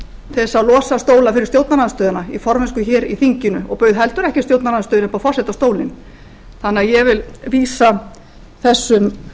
að losa stóla fyrir stjórnarandstöðuna í formennsku hér í þinginu og bauð heldur ekki stjórnarandstöðunni upp á forsetastólinn þannig að ég vil vísa þessum